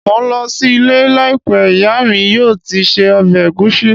Mò ń lọ sí ilé láìpẹ́, ìyá mi yóò ti se ọbẹ̀ ẹ̀gúsí